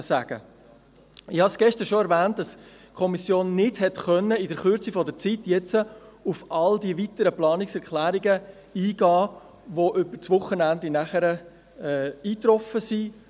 Ich habe gestern schon erwähnt, dass die Kommission in der kurzen Zeit nicht auf alle weiteren Planungserklärungen eingehen konnte, die übers Wochenende eingetroffen sind.